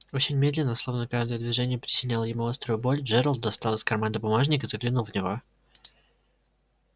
очень медленно словно каждое движение причиняло ему острую боль джералд достал из кармана бумажник и заглянул в него